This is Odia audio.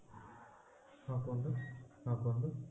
ହଁ କୁହନ୍ତୁ ହଁ କୁହନ୍ତୁ